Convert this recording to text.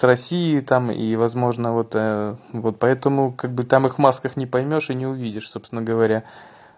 россии там и возможно вот вот поэтому как бы там их масках не поймёшь и не увидишь собственно говоря